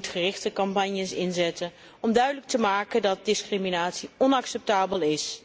Zij moet gerichte campagnes inzetten om duidelijk te maken dat discriminatie onacceptabel is.